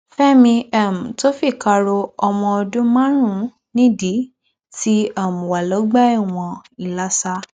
fẹmi um tó fìkà ro ọmọ ọdún márùnún nídìí ti um wà lọgbà ẹwọn ìlasa